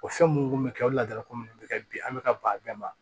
O fɛn munnu be kɛ o ladala ko minnu bɛ kɛ bi an bɛ ka ban a bɛɛ ma